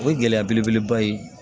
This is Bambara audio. O ye gɛlɛya belebeleba ye